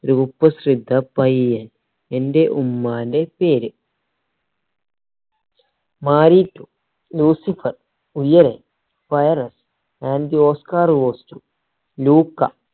കുപ്രസിദ്ധ പയ്യൻ എന്റെ ഉമ്മാന്റെ പേര് മാരിട്ടു Lucifer Uyare virus and the oscar goes